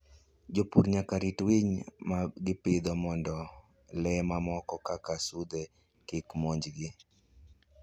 Jopur nyaka rit winy ma gipidho mondo le mamoko kaka sudhe kik monj gi.